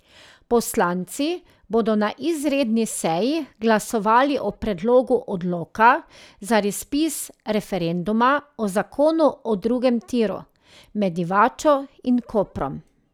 Poslanci bodo na izredni seji glasovali o predlogu odloka za razpis referenduma o zakonu o drugem tiru med Divačo in Koprom.